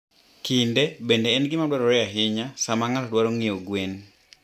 Kinde bende en gima dwarore ahinya sama ng'ato dwaro ng'iewo gwen.